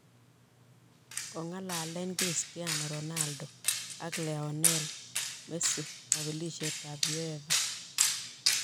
Kong'alalen Christiano Ronaldo ak Lionel Messi kapelisiet ab uefa